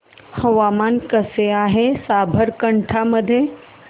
हवामान कसे आहे साबरकांठा मध्ये